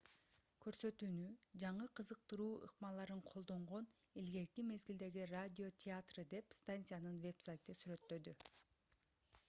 көрсөтүүнү жаңы кызыктыруу ыкмаларын колдонгон илгерки мезгилдеги радио театры деп станциянын вебсайты сүрөттөдү